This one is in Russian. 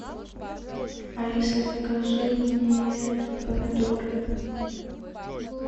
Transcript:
алиса закажи мне помидоры